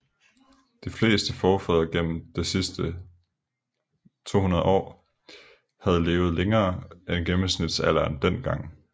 De fleste forfædre gennem det sidste 200 år havde levet længere end gennemsnitsalderen dengang